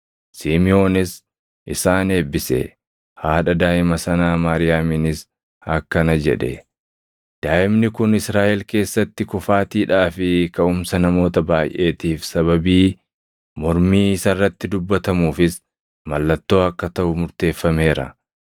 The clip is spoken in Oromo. Simiʼoonis isaan eebbise; haadha daaʼima sanaa Maariyaamiinis akkana jedhe; “Daaʼimni kun Israaʼel keessatti kufaatiidhaa fi kaʼumsa namoota baayʼeetiif sababii, mormii isa irratti dubbatamuufis mallattoo akka taʼu murteeffameera;